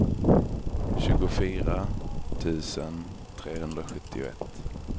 tjugofyra tusen trehundrasjuttioett